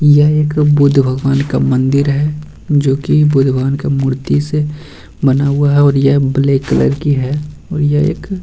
यह एक बुद्ध भगवान का मंदिर है जो की बुद्ध भगवान के मूर्ति से बना हुआ है और यह ब्लैक कलर की है और ये --